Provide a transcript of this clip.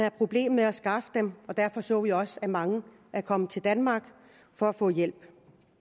et problem med at skaffe dem og derfor så vi også at mange kom til danmark for at få hjælp